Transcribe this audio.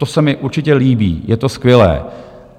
To se mi určitě líbí, je to skvělé.